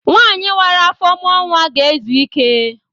Nwanyi wara afọ mụọ nwa ga-ezu ike.